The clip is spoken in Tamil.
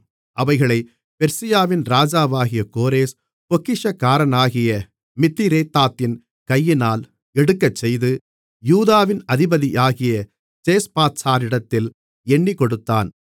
அவைகளைப் பெர்சியாவின் ராஜாவாகிய கோரேஸ் பொக்கிஷக்காரனாகிய மித்திரேதாத்தின் கையினால் எடுக்கச்செய்து யூதாவின் அதிபதியாகிய சேஸ்பாத்சாரிடத்தில் எண்ணிக்கொடுத்தான்